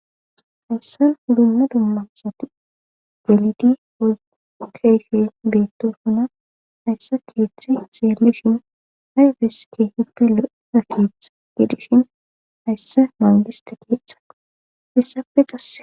hayssan ulunna dummasati jalidi woyu keyfe beetto suna haysse keeththe xeelishin hayfes kehippi lo7eda keetha gedishin hayssa mangista keeththe issappe qasse